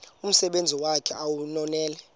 umsebenzi wakhe ewunonelele